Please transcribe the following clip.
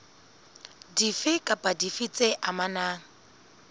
dife kapa dife tse amanang